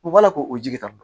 U b'a la k'o jigi tan dɔn